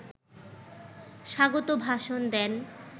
স্বাগত ভাষণ দেন